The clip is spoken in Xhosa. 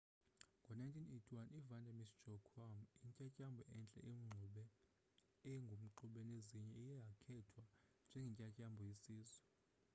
ngo-1981 ivanda miss joaquim intyantyambo entle engumxube nezinye iye yakhethwa njengentyantyambo yesizwe